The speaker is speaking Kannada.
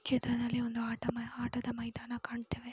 ಈ ಚಿತ್ರದಲ್ಲಿ ಒಂದು ಆಟೊ ಆಟದ ಮೈದಾನ ಕಾಣ್ತಿದೆ.